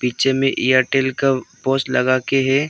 नीचे में एयरटेल का पोस्ट लगाके है।